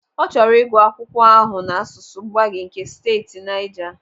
Ọ chọrọ ịgụ akwụkwọ ahụ n'asụsụ Gbagyi nke steeti Naija.